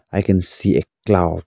I can see a cloud.